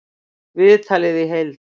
Viðtalið í heild